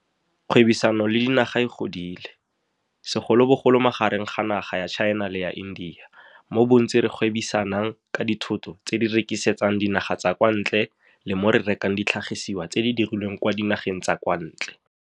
Kgwebisano le dinaga e godile, segolobogolo magareng ga naga ya China le ya India, mo bontsi re gwebisanang ka dithoto tse re di rekisetsang dinaga tsa kwa ntle le mo re rekang ditlhagisiswa tse di dirilweng kwa dinageng tsa kwa ntle.